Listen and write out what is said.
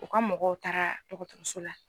o ka mɔgɔw taara dɔgɔtɔrɔso la